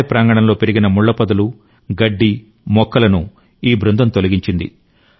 ఆలయ ప్రాంగణంలో పెరిగిన ముళ్ల పొదలు గడ్డి మొక్కలను ఈ బృందం తొలగించింది